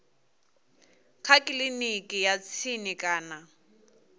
kha kiliniki ya tsini kana